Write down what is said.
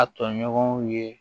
A tɔɲɔgɔnw ye